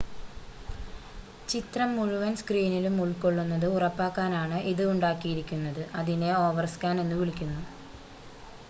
ചിത്രം മുഴുവൻ സ്‌ക്രീനിലും ഉൾക്കൊള്ളുന്നത് ഉറപ്പാക്കാനാണ് ഇത് ഉണ്ടാക്കിയിരിക്കുന്നത് അതിനെ ഓവർസ്‌കാൻ എന്നുവിളിക്കുന്നു